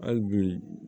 Hali bi